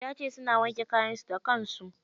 Yace suna wanke kayan su da kansu.